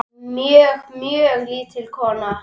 Mjög, mjög lítil kona.